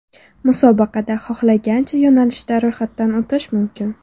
Musobaqada xohlagancha yo‘nalishda ro‘yxatdan o‘tish mumkin.